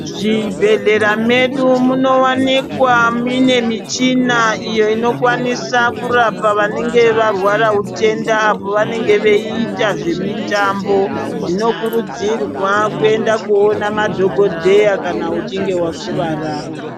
Mu zvibhedhlera medu muno wanikwa mune muchina iyo inokwanisa kurapa vanenge varwara utenda apo vanenge vei ita zve mitambo zvino kurudzirwa kuenda koona madhokodheya kana uchinge wa kuvara.